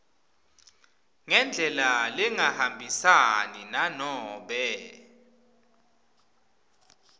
ngendlela lengahambisani nanobe